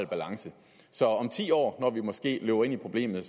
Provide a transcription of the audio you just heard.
balance så om ti år når vi måske løber ind i problemet